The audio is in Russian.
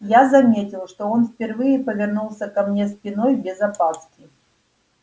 я заметил что он впервые повернулся ко мне спиной без опаски